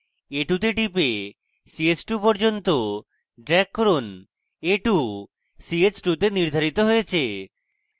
a2 তে টিপে ch2 পর্যন্ত drag করুন a2 ch2 তে নির্ধারিত হয়েছে